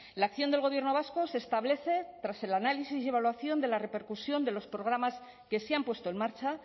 la acción del gobierno vasco se establece tras el análisis y evaluación de la repercusión de los programas que se han puesto en marcha